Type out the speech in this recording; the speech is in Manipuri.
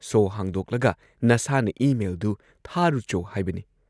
ꯁꯣ ꯍꯥꯡꯗꯣꯛꯂꯒ ꯅꯁꯥꯅ ꯏ ꯃꯦꯜꯗꯨ ꯊꯥꯔꯨꯆꯣ ꯍꯥꯏꯕꯅꯤ ꯫